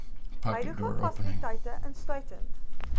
huidige fasiliteite insluitend